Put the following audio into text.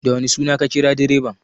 Da wane suna ka kira direban?